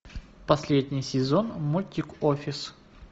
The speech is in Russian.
последний сезон мультик офис